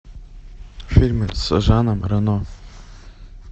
фильмы с жаном рено